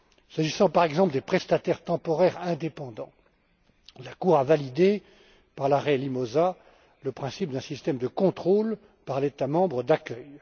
S'agissant, par exemple, des prestataires temporaires indépendants, la Cour a validé, par l'arrêt Limosa, le principe d'un système de contrôle par l'État membre d'accueil.